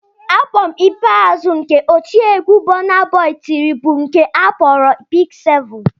Abọm ikpeazụ nke otiegwu Burnaboy tiri bụ nke a kpọrọ "Big 7"